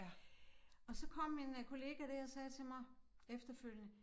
Og så kom min øh kollega dér og sagde til mig efterfølgende